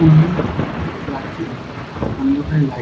এমনি ও রাতের অন্ধকারে লাইট ।